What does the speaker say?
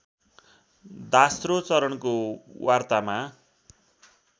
दास्रो चरणको वार्तामा